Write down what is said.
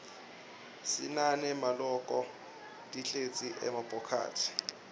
sinane maloko tlkesl nemabhokathi